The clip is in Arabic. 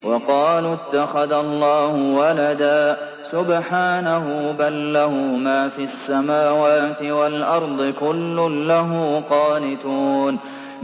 وَقَالُوا اتَّخَذَ اللَّهُ وَلَدًا ۗ سُبْحَانَهُ ۖ بَل لَّهُ مَا فِي السَّمَاوَاتِ وَالْأَرْضِ ۖ كُلٌّ لَّهُ قَانِتُونَ